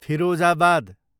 Firozabad